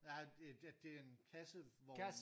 Ja det det er en kasse vogn